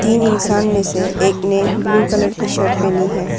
तीन इंसान में से एक ने ब्लू कलर की शर्ट पहनी है।